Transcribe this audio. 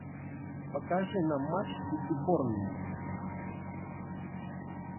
покажи нам матч сити борнмут